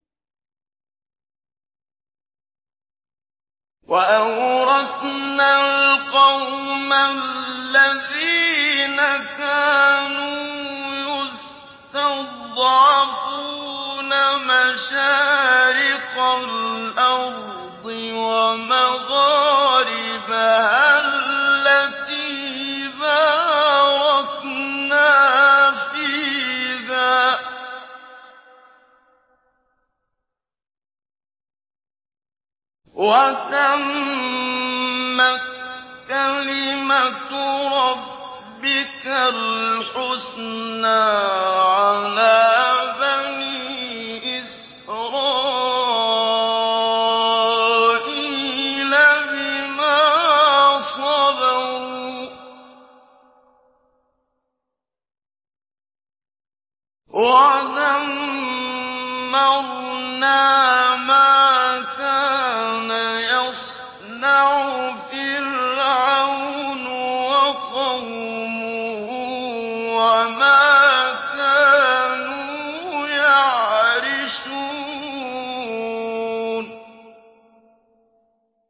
وَأَوْرَثْنَا الْقَوْمَ الَّذِينَ كَانُوا يُسْتَضْعَفُونَ مَشَارِقَ الْأَرْضِ وَمَغَارِبَهَا الَّتِي بَارَكْنَا فِيهَا ۖ وَتَمَّتْ كَلِمَتُ رَبِّكَ الْحُسْنَىٰ عَلَىٰ بَنِي إِسْرَائِيلَ بِمَا صَبَرُوا ۖ وَدَمَّرْنَا مَا كَانَ يَصْنَعُ فِرْعَوْنُ وَقَوْمُهُ وَمَا كَانُوا يَعْرِشُونَ